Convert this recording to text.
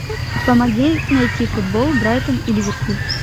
помоги найти футбол брайтон и ливерпуль